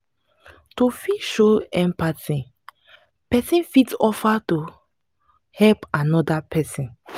to fit show empathy person fit offer to help anoda person